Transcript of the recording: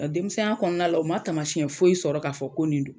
Nga denmisɛnninya kɔnɔna la o ma taamasiɲɛ foyi sɔrɔ k'a fɔ ko nin don